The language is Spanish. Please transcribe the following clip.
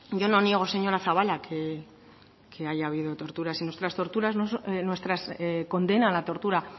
niego señora zabala que haya habido torturas y nuestra condena a la tortura